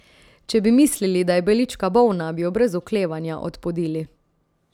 Če bi mislili, da je Belička bolna, bi jo brez oklevanja odpodili.